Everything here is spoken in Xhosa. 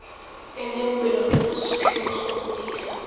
enempilo nenesiphiwo sokuyila